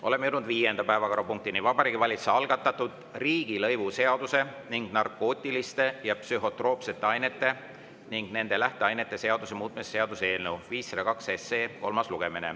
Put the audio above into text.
Oleme jõudnud viienda päevakorrapunktini: Vabariigi Valitsuse algatatud riigilõivuseaduse ning narkootiliste ja psühhotroopsete ainete ning nende lähteainete seaduse muutmise seaduse eelnõu 502 kolmas lugemine.